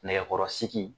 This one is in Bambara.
Nɛgɛkɔrɔsigi